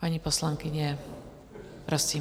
Paní poslankyně, prosím.